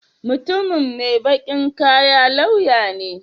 Mutumin mai baƙin kaya lauya ne?